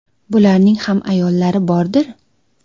Bularning ham ayollari bordir.